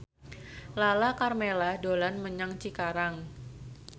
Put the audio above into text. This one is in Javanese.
Lala Karmela dolan menyang Cikarang